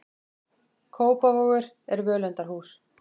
Kópavogur er völundarhús.